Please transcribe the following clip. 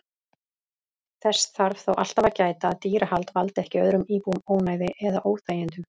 Þess þarf þó alltaf að gæta að dýrahald valdi ekki öðrum íbúum ónæði eða óþægindum.